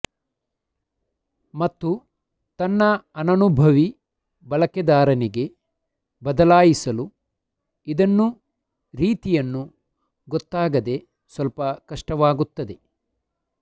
ಮತ್ತು ತನ್ನ ಅನನುಭವಿ ಬಳಕೆದಾರನಿಗೆ ಬದಲಾಯಿಸಲು ಇದನ್ನು ರೀತಿಯನ್ನು ಗೊತ್ತಾಗದೇ ಸ್ವಲ್ಪ ಕಷ್ಟವಾಗುತ್ತದೆ